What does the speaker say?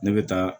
Ne bɛ taa